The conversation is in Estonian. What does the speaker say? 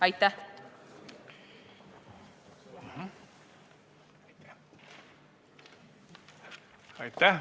Aitäh!